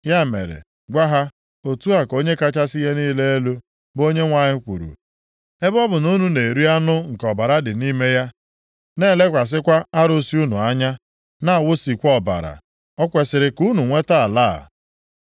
Ya mere, gwa ha, ‘Otu a ka Onye kachasị ihe niile elu, bụ Onyenwe anyị kwuru: Ebe ọ bụ na unu na-eri anụ nke ọbara dị nʼime ya, na-elekwasịkwa arụsị unu anya, na-awụsikwa ọbara, o kwesiri ka unu nweta ala a?